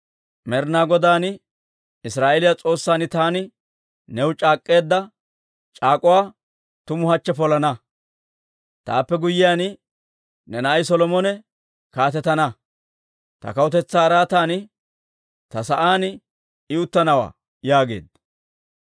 Med'inaa Godaan, Israa'eeliyaa S'oossan taani new c'aak'k'eedda c'aak'uwaa tumu hachche polana; taappe guyyiyaan ne na'ay Solomone kaatetana; ta kawutetsaa araatan, ta sa'aan I uttanawaa» yaageedda.